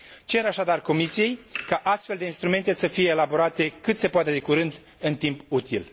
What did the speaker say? Cer, așadar, Comisiei ca astfel de instrumente să fie elaborate cât se poate de curând, în timp util.